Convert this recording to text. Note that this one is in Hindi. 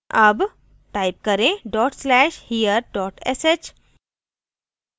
अब type करें: dot slash here dot sh